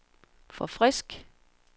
forfrisk